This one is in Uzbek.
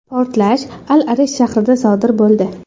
Portlash Al-Arish shahrida sodir bo‘ldi.